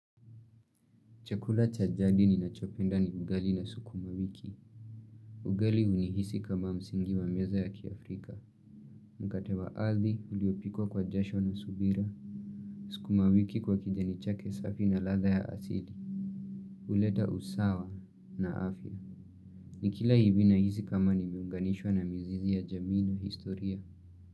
Chakula cha jald ni nachopenda ni ugali na sukuma wiki. Ugali uni hisi kama msingi wa meza ya kiafrika. Mkate wa hadhi uliopikwa kwa jasho na subira. Sukuma wiki kwa kijani chake safi na ladha ya asili. Huleta usawa na afya. Ni kila hivi na hisi kama nimeunganishwa na mizizi ya jamii na historia.